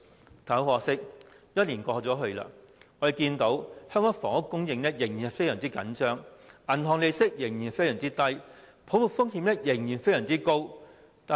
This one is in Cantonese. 然而，很可惜，一年過後，香港房屋供應仍然非常緊張，銀行利率仍然非常低，泡沫風險仍然非常高。